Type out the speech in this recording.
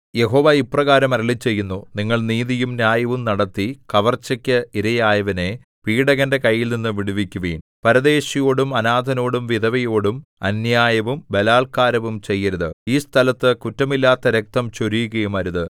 യഹോവ ഇപ്രകാരം അരുളിച്ചെയ്യുന്നു നിങ്ങൾ നീതിയും ന്യായവും നടത്തി കവർച്ചയ്ക്ക് ഇരയായവനെ പീഡകന്റെ കൈയിൽനിന്ന് വിടുവിക്കുവിൻ പരദേശിയോടും അനാഥനോടും വിധവയോടും അന്യായവും ബലാല്ക്കാരവും ചെയ്യരുത് ഈ സ്ഥലത്ത് കുറ്റമില്ലാത്ത രക്തം ചൊരിയുകയുമരുത്